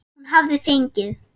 Hún hafði fengið